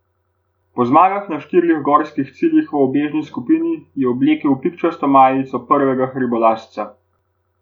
Po zmagah na štirih gorskih ciljih v ubežni skupini je oblekel pikčasto majico prvega hribolazca.